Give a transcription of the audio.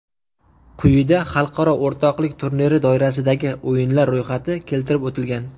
Quyida xalqaro o‘rtoqlik turniri doirasidagi o‘yinlar ro‘yxati keltirib o‘tilgan.